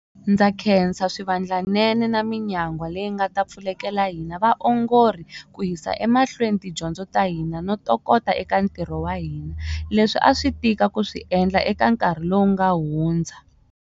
Ndza khensa swivandlanene na minyangwa leyi nga ta pfulekela hina vaongori ku yisa emahlweni tidyondzo ta hina no tokota eka ntirho wa hina, leswi a swi tika ku swi endla eka nkarhi lowu nga hudza.